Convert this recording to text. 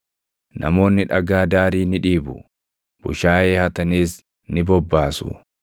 Namoonni dhagaa daarii ni dhiibu; bushaayee hataniis ni bobbaasu.